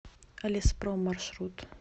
леспром маршрут